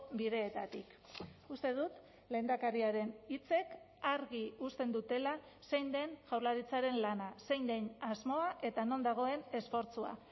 bideetatik uste dut lehendakariaren hitzek argi uzten dutela zein den jaurlaritzaren lana zein den asmoa eta non dagoen esfortzua